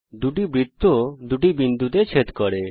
দুটি বৃত্ত দুটি বিন্দুতে ছেদ করে